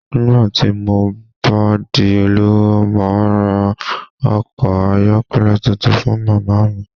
Nígbà tí mo bá di olówó, màá ra ọkọ̀ ayọ́kẹ́lẹ́ tuntun fún màmá mi